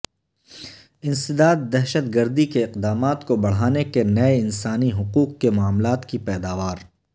انسداد دہشت گردی کے اقدامات کو بڑھانے کے نئے انسانی حقوق کے معاملات کی پیداوار